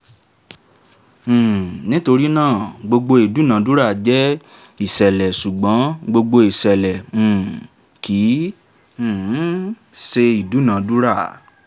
um nítorínà gbogbo ìdúnadúrà jẹ́ ìṣẹ̀lẹ̀ ṣùgbọ́n gbogbo ìṣẹ̀lẹ̀ um kíì um ṣe ìdúnadúrà